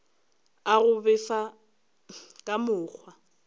a go befa ka mokgwa